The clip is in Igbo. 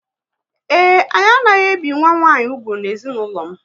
Ee, anyị anaghị ebi nwa nwanyị úgwù na ezinụlọ m